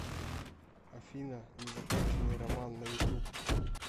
афина незаконченный роман на ютуб